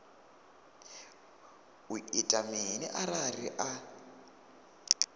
u ita mini arali a